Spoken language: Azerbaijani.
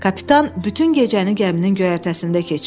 Kapitan bütün gecəni gəminin göyərtəsində keçirdi.